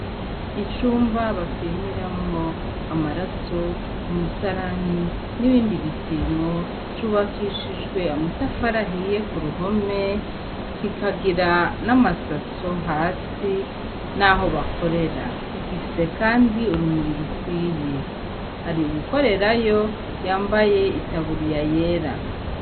Icumba bapimiramwo amaraso umusalani n'ibindi bipimo cubakishijwe amatafarahiye ku ruhome kikagira n'amasaso hasi, naho bakorera gifise, kandi urumuriro ukwiye hari uwukorerayo yambaye itaburiya yera.